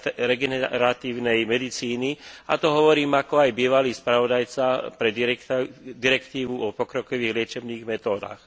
regeneratívnej medicíny a to hovorím ako aj bývalý spravodajca pre direktívu o pokrokových liečebných metódach.